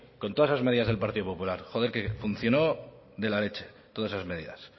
con todas esas medidas del partido popular joder funcionó de la leche todas esas medidas